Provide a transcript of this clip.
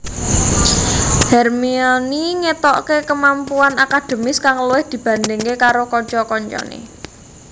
Hermione ngetoke kemampuan akademis kang luwih dibandingke karo kanca kancane